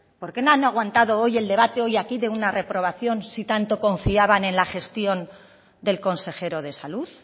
por qué no han aguantado el debate hoy aquí de una reprobación si tanto confiaban en la gestión del consejero de salud